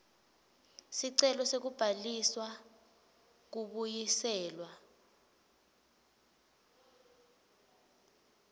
sicelo sekubhalisa kubuyiselwa